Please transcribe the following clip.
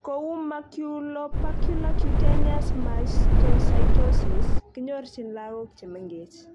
Kou maculopapular cutaneous mastocytosis, kinyorchin lagok chemengech